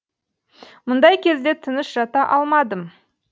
мұндай кезде тыныш жата алмадым